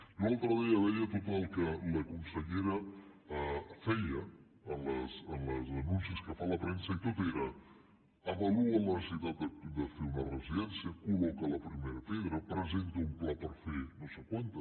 jo l’altre dia veia tot el que la consellera feia en els anuncis que fa a la premsa i tot era avalua la necessitat de fer una residència col·loca la primera pedra presenta un pla per fer ne no sé quantes